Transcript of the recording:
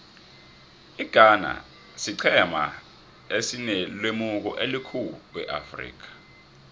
ighana siqhema esinelemuko elikhulu eafrika